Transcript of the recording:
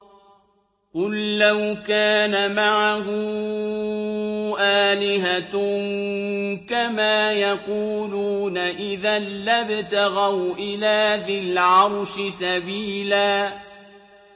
قُل لَّوْ كَانَ مَعَهُ آلِهَةٌ كَمَا يَقُولُونَ إِذًا لَّابْتَغَوْا إِلَىٰ ذِي الْعَرْشِ سَبِيلًا